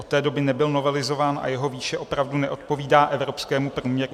Od té doby nebyl novelizován a jeho výše opravdu neodpovídá evropskému průměru.